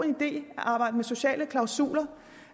idé at arbejde med sociale klausuler